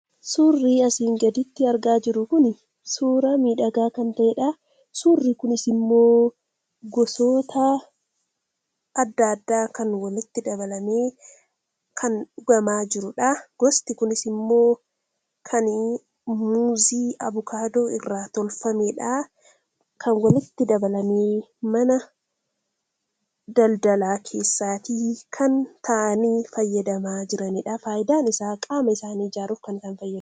Suurri asii gaditti argaa jirru kun suura miidhagaa kan ta'eedha. Suurri kunis immoo gosoota adda addaa kan walitti dabalamee kan dhugamaa jiruudha. Gosti kunis immoo kan muuzii, avokaadoo irraa tolfameedha. Kan walitti dabalamee mana daldalaa keessaatii kan fayyadamaa jiraniidha. Faayidaan isaa qaama isaanii ijaaruuf kan isaan fayyaduudha.